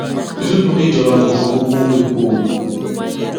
yusuf ní ìjọba kò fọwọ kún epo o